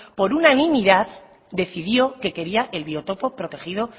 por unanimidad decidió que quería el biotopo protegido